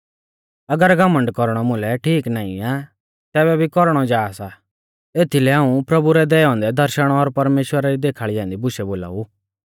अगर घमण्ड कौरणौ मुलै ठीक नाईं आ तैबै भी कौरणौ जा सा एथीलै हाऊं प्रभु रै दैऔ औन्दै दर्शण और परमेश्‍वरा री देखाल़ी ऐन्दी बुशै बोलाऊ